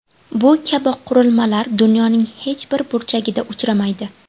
Bu kabi qurilmalar dunyoning hech bir burchagida uchramaydi.